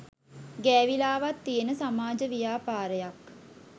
ගෑවිලාවත් තියෙන සමාජ ව්‍යාපාරයක්